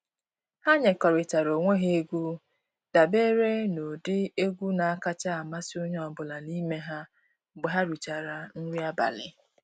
Ha nyekọrịtara onwe ha egwu dabere n'ụdịdị egwu na-akacha amasị onye ọbụla n'ime ha mgbe ha richara nri abalị.